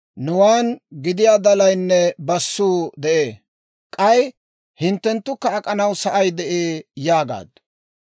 Nuwaan gidiyaa dalaynne bassuu de'ee; k'ay hinttenttu ak'anawukka sa'ay de'ee» yaagaaddu.